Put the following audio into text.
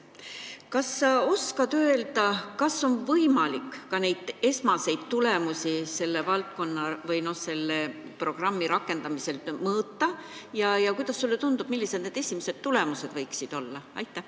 Kas sa oskad öelda, kas on võimalik esmaseid tulemusi selle programmi rakendamisel mõõta, ja kui on, siis millised need esimesed tulemused võiksid olla?